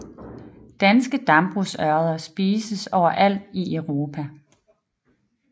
Danske dambrugsørreder spises overalt i Europa